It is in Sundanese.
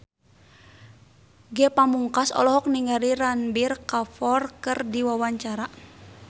Ge Pamungkas olohok ningali Ranbir Kapoor keur diwawancara